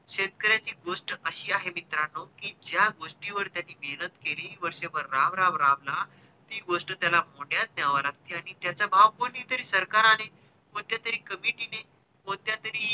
शेतकऱ्याची गोष्ट अशी आहे मित्रांनो कि ज्या गोष्टी वर त्याने मेहेनत केली वर्ष भर राबराब राबला ती गोष्ट त्याला माढ्यात न्यावी लागती आणि त्याचा भाव पण सरकार आणि कोणत्या तरी comitee ने कोणत्या तरी